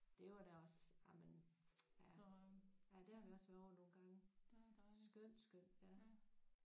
Det var da også jamen ja ja der har vi også været ovre nogle gange skønt skønt ja